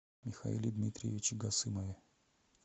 михаиле дмитриевиче гасымове